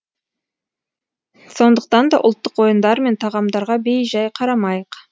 сондықтан да ұлттық ойындар мен тағамдарға бей жай қарамайық